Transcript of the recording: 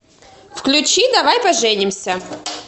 включи давай поженимся